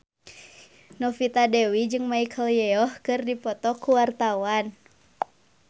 Novita Dewi jeung Michelle Yeoh keur dipoto ku wartawan